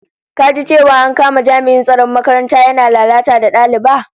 Ka ji cewa an kama jami'in tsaron makaranta yana lalata da daliba?